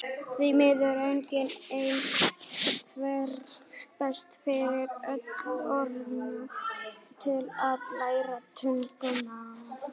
Því miður er engin ein aðferð best fyrir fullorðna til að læra tungumál.